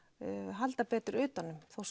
halda betur utan um þó